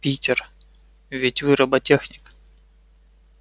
питер ведь вы роботехник